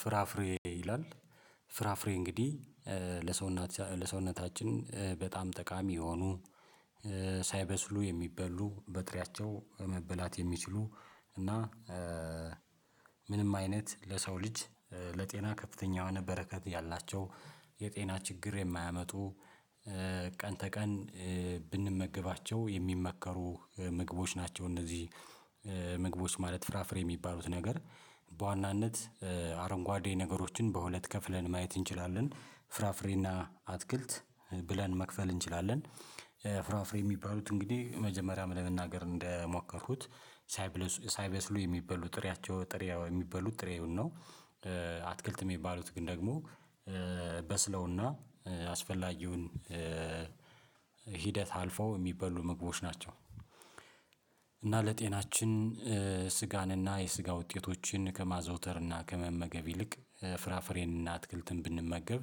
ፍራፍሬ ይላል ፍራፍሬ እንግዲህ ለሰውነታችን በጣም ጠቃሚ የሆኑ ሳይበስሉ የሚበሉ በጥሪያቸው መበላት የሚችሉ እና ምንም አይነት ለሰው ልጅ ለጤና ከፍተኛው የሆነ በረከት ያላቸው የጤና ችግር የማያመጡ ቀን ተቀን ብንመገባቸው የሚመከሩ ምግቦች ናቸው። እነዚህ ምግቦች ማለት ፍራፍሬ የሚባሉት ነገር በዋናነት አረንጓዴ ነገሮችን በሁለት ከፍለን ማየት እንችላለን ፍራፍሬና አትክልት ብለን መክፈል እንችላለን። ፍራፍሬ የሚባሉት እንግዲህ መጀመሪያም ለመናገር እንደሞከርኩት ሳይበስሉ የሚበሉ ጥሪያቸው ጥሪያ የሚበሉ ጥሬውን ነው። አትክልት የሚባሉት ግን ደግሞ በስለውና አስፈላጊውን ሂደት አልፈው የሚበሉ ምግቦች ናቸው። እና ለጤናችን ስጋን እና የስጋ ውጤቶችን ከማዘውተር እና ከመመገብ ይልቅ ፍራፍሬን እና አትክልትን ብንመገብ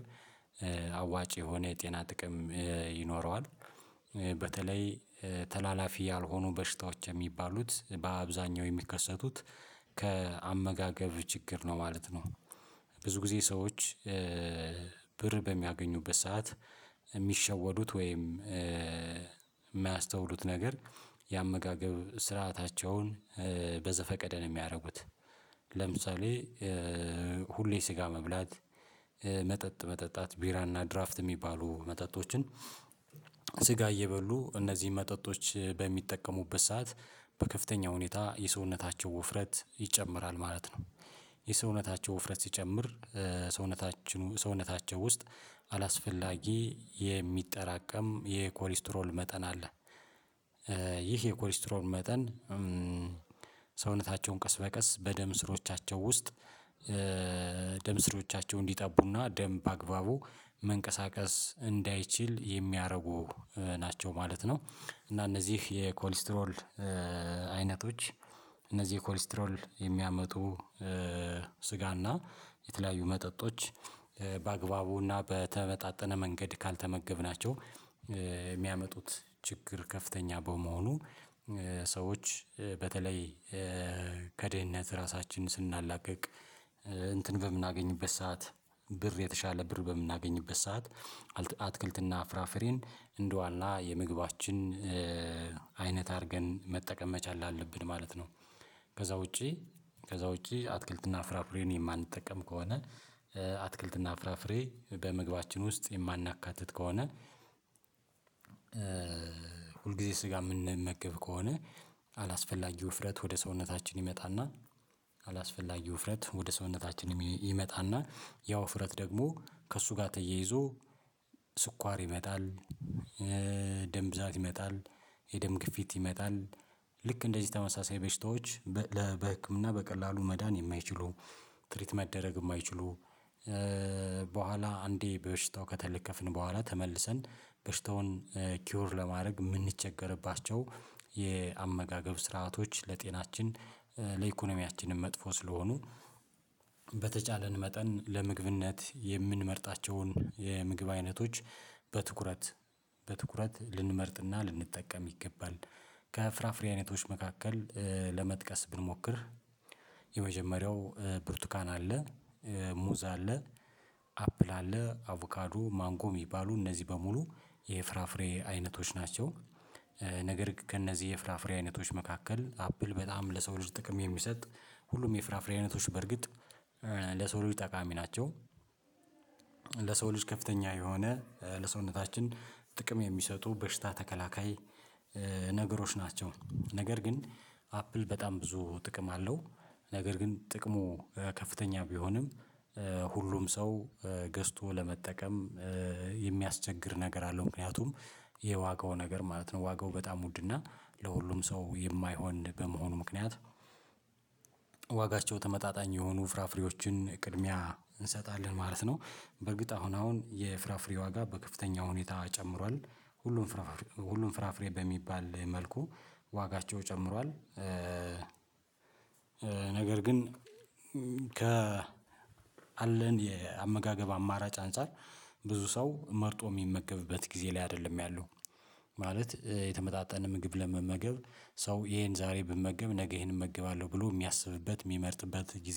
አዋጭ የሆነ የጤና ጥቅም ይኖረዋል። በተለይ ተላላፊ ያልሆኑ በሽታዎች የሚባሉት በአብዛኛው የሚከሰቱት ከአመጋገብ ችግር ነው ማለት ነው። ብዙ ጊዜ ሰዎች ብር በሚያገኙበት ሰዓት የሚሸወዱት ወይም የማያስተውሉት ነገር የአመጋገብ ስርዓታቸውን በዘፈቀደ ነው የሚያደርጉት። ለምሳሌ ሁሌ ስጋ መብላት መጠጥ መጠጣት ቢራና ድራፍት የሚባሉ መጠጦችን ስጋ እየበሉ እነዚህን መጠጦች በሚጠቀሙበት ሰዓት በከፍተኛ ሁኔታ የሰውነታቸው ውፍረት ይጨምራል ማለት ነው። የሰውነታቸው ውፍረት ሲጨምር ሰውነታቸው ውስጥ አላስፈላጊ የሚጠራቀም የኮሊስትሮል መጠን አለ። ይህ የኮሌስትሮል መጠን ሰውነታቸውን ቀስ በቀስ በደም ስሮቻቸው ውስጥ ደም ስሪዎቻቸው እንዲጠቡና ደም በአግባቡ መንቀሳቀስ እንዳይችል የሚያደርጉ ናቸው ማለት ነው። እና እነዚህ የኮሌስትሮል አይነቶች ኮሌስትሮል የሚያመጡ ስጋና የተለያዩ መጠጦች በአግባቡና በተመጣጠነ መንገድ ካልተመገብናቸው የሚያመጡት ችግር ከፍተኛ በመሆኑ። ሰዎች በተለይ ከድህነት ራሳችንን ስናላቅቅ እንትን በምናገኝበት ሰዓት ብር የተሻለ ብር በምናገኝበት ሰዓት አትክልትና ፍራፍሬን እንደዋና የምግባችን አይነት አድርገን መጠቀም መቻል አለብን ማለት ነው። ከዛ ውጪ ከዛ ውጪ አትክልትና ፍራፍሬን የማንጠቀም ከሆነ አትክልትና ፍራፍሬ በመግባችን ውስጥ የማናካትት ከሆነ። ሁልጊዜ ስጋ የምንመገብ ከሆነ አላስፈላጊ ውፍረት ወደ ሰውነታችን ይመጣና አላስፈላጊ ውፍረት ወደ ሰውነታችን ይመጣና ያው ወፍረት ደግሞ ከእሱ ጋር ተያይዞ ስኳር ይመጣል። ደም ብዛት ይመጣል የደም ግፊት ይመጣል ልክ እንደዚህ ተመሳሳይ በሽታዎች በህክምና በቀላሉ መዳን የማይችሉ ትሪት መደረግ የማይችሉ። በኋላ አንዴ በሽታው ከተለከፍን በኋላ ተመልሰን በሽታውን ኪውር ለማድረግ የምንቸገርባቸው የአመጋገብ ስርዓቶች ለጤናችን ለኢኮኖሚያችንም መጥፎ ስለሆኑ። በተቻለን መጠን ለምግብነት የምንመርጣቸውን የምግብ አይነቶች በትኩረት በትኩረት ልንመርጥና ልንጠቀም ይገባል። ከፍራፍሬ አይነቶች መካከል ለመጥቀስ ብንሞክር የመጀመሪያው ብርቱካን አለ ሙዝ አለ አፕል አለ አቮካዱ ማንጎ ሚባሉ እነዚህ በሙሉ የፍራፍሬ አይነቶች ናቸው። ነገር ግን ከእነዚህ የፍራፍሬ አይነቶች መካከል አፕል በጣም ለሰው ልጅ ጥቅም የሚሰጥ ሁሉም የፍራፍሬ አይነቶች በርግጥ ለሰው ልጅ ጠቃሚ ናቸው። ለሰው ልጅ ከፍተኛ የሆነ ለሰውነታችን ጥቅም የሚሰጡ በሽታ ተከላካይ ነገሮች ናቸው። ነገር ግን አፕል በጣም ብዙ ጥቅም አለው። ነገር ግን ጥቅሙ ከፍተኛ ቢሆንም ሁሉም ሰው ገዝቶ ለመጠቀም የሚያስቸግር ነገር አለው ምክንያቱም የዋጋው ነገር ማለት ነው ዋጋው በጣም ውድና ለሁሉም ሰው የማይሆን በመሆኑ ምክንያት። ዋጋቸው ተመጣጣኝ የሆኑ ፍራፍሬዎችን ቅድሚያ እንሰጣለን ማለት ነው። በእርግጥ አሁን አሁን የፍራፍሬ ዋጋ በከፍተኛ ሁኔታ ጨምሯል ሁሉም ሁሉም ፍራፍሬ በሚባል መልኩ ዋጋቸው ጨምሯል። ነገር ግን ከ አለን የአመጋገብ አማራጭ አንፃር ብዙ ሰው መርጦ የሚመገብበት ጊዜ ላይ አይደለም ያለው። ማለት የተመጣጠነ ምግብ ለመመገብ ሰው ይሄን ዛሬ ብመገብ ነገ ይህን እመግባለሁ ብሎ የሚያስብበት የሚመርጥበት ጊዜ